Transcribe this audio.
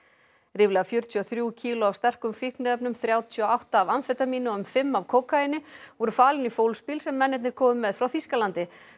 ríflega fjörutíu og þrjú kíló af sterkum fíkniefnum þrjátíu og átta af amfetamíni og um fimm af kókaíni voru falin í fólksbíl sem mennirnir komu með frá Þýskalandi